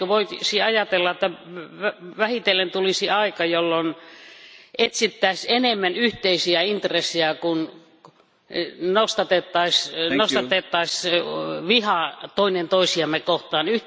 Eikö voisi ajatella, että vähitellen tulisi aika, jolloin etsittäisiin enemmän yhteisiä intressejä kuin nostatettaisiin vihaa toinen toisiamme kohtaan?